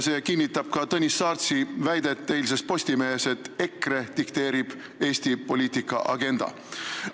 See kinnitab ka Tõnis Saartsi väidet eilses Postimehes, et EKRE dikteerib Eesti poliitika agendat.